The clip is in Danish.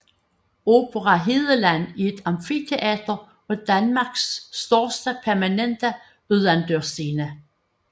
Opera Hedeland er et amfiteater og Danmarks største permanente udendørsscene